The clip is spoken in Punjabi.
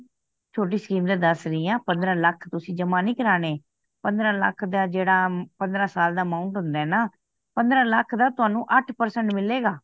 ਛੋਟੀ scheme ਤੇ ਦੱਸ ਰਹੀ ਹਾਂ ਪੰਦਰਾਂ ਲੱਖ ਤੁਸੀ ਜਮਾ ਨੀ ਕਰਾਣੇ ਪੰਦਰਾਂ ਲੱਖ ਦਾ ਜੇੜਾ ਪੰਦਰਾਂ ਸਾਲ ਦਾ amount ਹੁੰਦਾ ਨਾ ਪੰਦਰਾਂ ਲੱਖ ਦਾ ਤੁਹਾਨੁੰ ਅੱਠ percent ਮਿਲੇਗਾ।